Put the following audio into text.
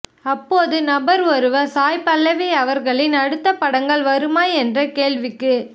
அப்போது நிருபர் ஒருவர் சாய் பல்லவி அவர்களின் அடுத்துத படங்கள் வருமா என்ற கேள்விக்கு